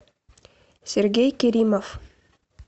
сергей киримов